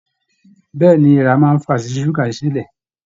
Bẹẹni, èèrà máa n fà sí ṣuga ṣiṣi silẹ.